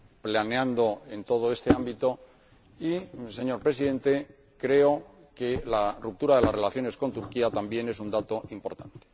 planeando en todo este ámbito y, señor Presidente, creo que la ruptura de las relaciones con Turquía también es un dato importante.